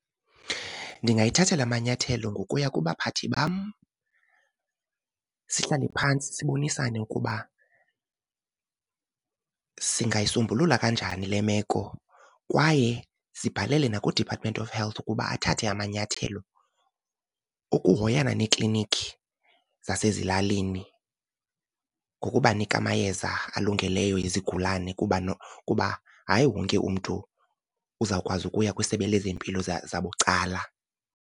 Ndingayithathela amanyathelo ngokuya kubaphathi bam, sihlale phantsi sibonisane ukuba singayisombulula kanjani le meko. Kwaye sibhalele nakuDepartment of Health ukuba athathe amanyathelo ukuhoyana neekliniki zasezilalini ngokubanika amayeza alungeleyo ezigulane kuba , kuba hayi wonke umntu uzawukwazi ukuya kwisebe lezempilo zabucala.